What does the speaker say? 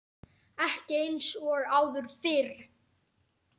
Ekki eins og áður fyrr.